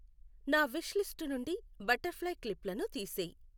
నా wish list నుండి butterfly క్లిప్లను తీసేయ్